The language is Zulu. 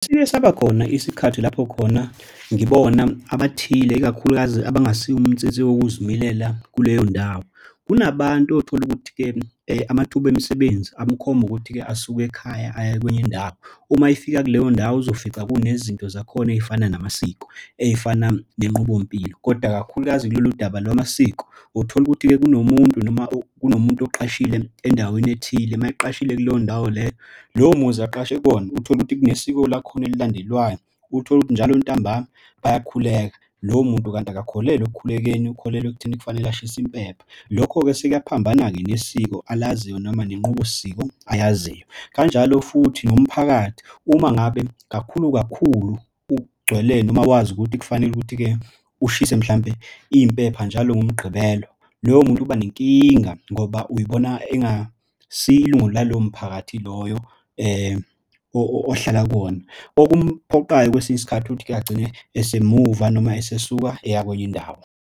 Siyesaba khona isikhathi lapho khona ngibona abathile ikakhulukazi abangasibo umnsinsi wokuzimilela kuleyo ndawo. Kunabantu otholukuthi-ke amathuba emsebenzi amukhomba ukuthi-ke asuke ekhaya aya kwenye indawo. Uma efika kuleyo ndawo uzofica kunezinto zakhona ey'fana namasiko, ey'fana nenqubo mpilo, kodwa kakhulukazi kulolu daba lwamasiko. Utholukuthi-ke kunomuntu noma kunomuntu oqashile endaweni ethile uma eqashile kuleyo ndawo leyo lowo muzi aqashe kuwona utholukuthi kunesiko lakhona elandelwayo. Utholukuthi njalo ntambama bayakhuleka lowo muntu kanti akakholelwa ekukhuleni. Ukholelwa ekutheni kufanele ashisa impepho. Lokho-ke sekuyaphambana-ke nesiko alaziyo noma nenqubo siko ayaziyo. Kanjalo futhi nomphakathi uma ngabe kakhulu kakhulu ugcwele noma wazi ukuthi kufanele ukuthi-ke ushise mhlampe iy'mpepha njalo ngomgqibelo loyo muntu uba nenkinga ngoba uyibona engasiyilunga lalowo mphakathi loyo ohlala kuwona. Okumphoqayo kwesinye isikhathi ukuthi-ke agcine esemuva noma esesuka eya kwenye indawo.